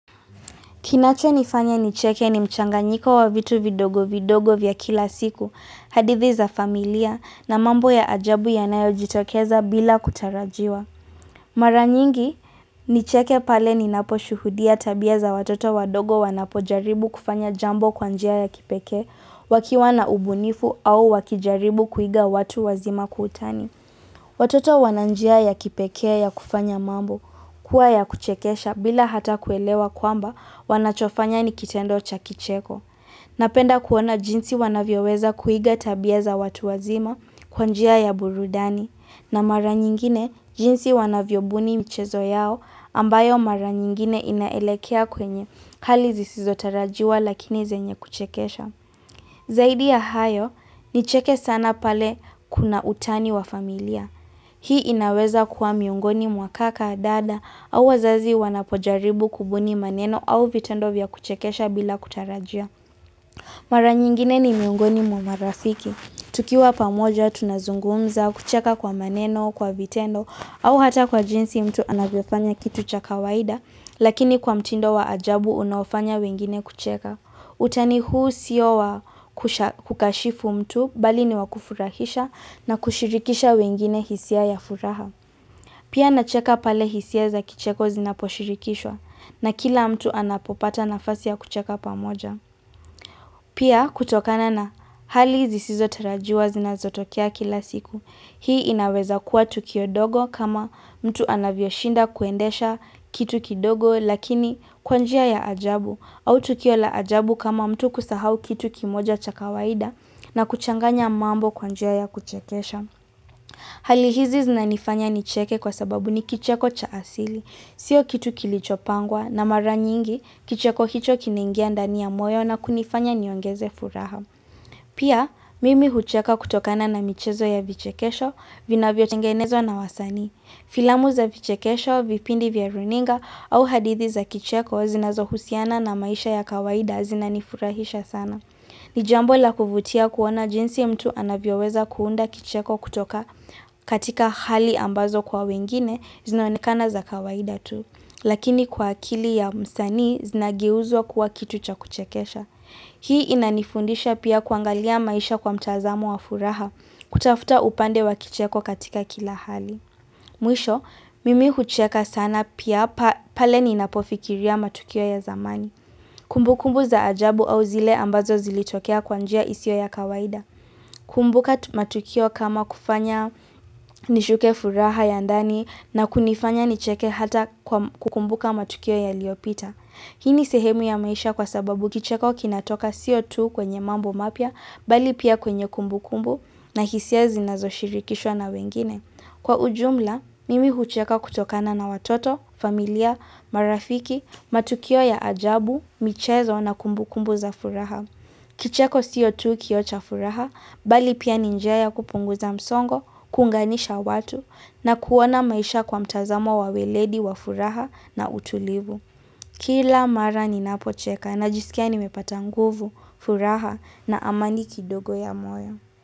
Kinachonifanya nicheke ni mchanganyiko wa vitu vidogo vidogo vya kila siku, hadithi za familia na mambo ya ajabu yanayo jitokeza bila kutarajiwa. Mara nyingi, nicheke pale ninaposhuhudia tabia za watoto wadogo wanapojaribu kufanya jambo kwanjia ya kipekee, wakiwa na ubunifu au wakijaribu kuiga watu wazima kwa utani. Watoto wana njia ya kipekee ya kufanya mambo kuwa ya kuchekesha bila hata kuelewa kwamba wanachofanya nikitendo cha kicheko. Napenda kuona jinsi wanavyoweza kuiga tabia za watu wazima kwanjia ya burudani na mara nyingine jinsi wanavyobuni michezo yao ambayo mara nyingine inaelekea kwenye hali zizotarajiwa lakini zenye kuchekesha. Zaidi ya hayo, ni cheke sana pale kuna utani wa familia. Hii inaweza kuwa miungoni mwa kaka, dada, au wazazi wanapojaribu kubuni maneno au vitendo vya kuchekesha bila kutarajia. Mara nyingine ni miungoni mwamarafiki. Tukiwa pamoja tunazungumza kucheka kwa maneno, kwa vitendo, au hata kwa jinsi mtu anavyofanya kitu cha kawaida, lakini kwa mtindo wa ajabu unaofanya wengine kucheka. Utani huu sio wa kukashifu mtu bali ni wakufurahisha na kushirikisha wengine hisia ya furaha. Pia nacheka pale hisia za kicheko zinaposhirikishwa na kila mtu anapopata nafasi ya kucheka pamoja. Pia kutokana na hali zisizotarajiwa zinazotokea kila siku. Hii inaweza kuwa tukio dogo kama mtu anavyoshinda kuendesha kitu kidogo lakini kwanjia ya ajabu au tukio la ajabu kama mtu kusahau kitu kimoja cha kawaida na kuchanganya mambo kwanjia ya kuchekesha. Halihizi zinanifanya nicheke kwa sababu ni kicheko cha asili. Sio kitu kilichopangwa na mara nyingi kicheko hicho kinaingia ndani ya moyo na kunifanya niongeze furaha. Pia mimi hucheka kutokana na michezo ya vichekesho vinavyotengenezwa na wasani. Filamu za vichekesho, vipindi vya runinga au hadithi za kicheko zinazohusiana na maisha ya kawaida zinanifurahisha sana. Ni jambo la kuvutia kuona jinsi mtu anavyoweza kuunda kicheko kutoka katika hali ambazo kwa wengine zinaonekana za kawaida tu. Lakini kwa akili ya msani zinageuzwa kuwa kitu cha kuchekesha. Hii inanifundisha pia kuangalia maisha kwa mtazamo wa furaha kutafuta upande wa kicheko katika kila hali. Mwisho, mimi hucheka sana pia pale ninapofikiria matukio ya zamani. Kumbukumbu za ajabu au zile ambazo zilitokea kwanjia isio ya kawaida. Kumbuka matukio kama kufanya nishuke furaha ya ndani na kunifanya nicheke hata kwa kukumbuka matukio yaliopita. Hii ni sehemu ya maisha kwa sababu kicheko kinatoka sio tu kwenye mambo mapya, bali pia kwenye kumbukumbu na hisia zinazoshirikishwa na wengine. Kwa ujumla, mimi hucheka kutokana na watoto, familia, marafiki, matukio ya ajabu, michezo na kumbukumbu za furaha. Kicheko sio tu kioo cha furaha, bali pia ninjia ya kupunguza msongo, kuunganisha watu, na kuona maisha kwa mtazamo wa weledi wa furaha na utulivu. Kila mara ninapocheka na jisikia nimepata nguvu, furaha na amani kidogo ya moyo.